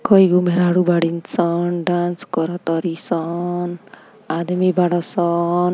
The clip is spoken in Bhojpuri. कई गो मेहरारू बाड़ी सन। डांस करतारी सन आदमी बड़सन |